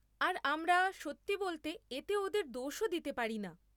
আর আমরা, সত্যি বলতে, এতে ওদের দোষও দিতে পারিনা।